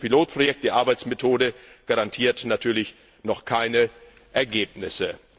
Aber dieses Pilotprojekt, die Arbeitsmethode, garantiert natürlich noch keine Ergebnisse.